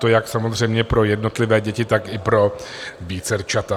To jak samozřejmě pro jednotlivé děti, tak i pro vícerčata.